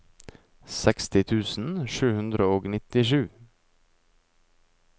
seksti tusen sju hundre og nittisju